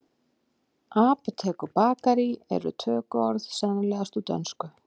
Apótek og bakarí eru tökuorð sennilegast úr dönsku.